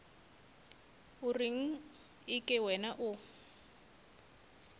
o reng eke wena o